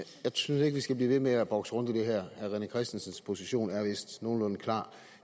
synes ikke vi skal blive ved med at bokse rundt i det her herre rené christensens position er vist nogenlunde klar